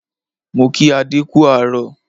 Mo kí adé kú àárọ̀